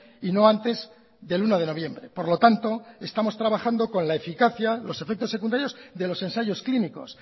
y no antes del uno de noviembre por lo tanto estamos trabajando con la eficacia los efectos secundarios de los ensayos clínicos